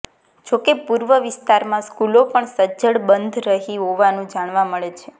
જોકે પૂર્વ વિસ્તારમાં સ્કૂલો પણ સજ્જડ બંધ રહી હોવાનું જાણવા મળે છે